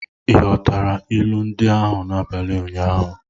Ị ghọtara ilu ndị ahụ n'abalị ụnyaahụ?